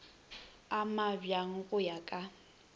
a mabjang go ya ka